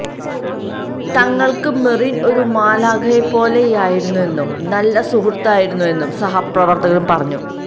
തങ്ങൾക്ക് മെറിൻ ഒരു മാലാഖയെ പോലെയായിരുന്നെന്നും നല്ല സുഹൃത്തായിരുന്നെന്നും സഹപ്രവർത്തക പറഞ്ഞു